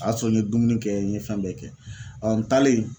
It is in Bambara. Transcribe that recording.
A y'a sɔrɔ n ye dumuni kɛ n ye fɛn bɛɛ kɛ ɔ n taalen